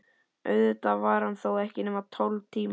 Auðvitað var hann þó ekki nema tólf tímar.